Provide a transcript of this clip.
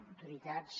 autoritats